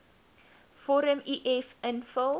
vorm uf invul